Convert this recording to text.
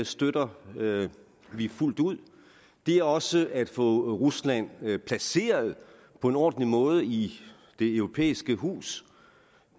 støtter vi fuldt ud det er også at få rusland placeret på en ordentlig måde i det europæiske hus